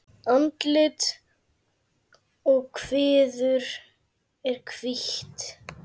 Andlit og kviður er hvítt.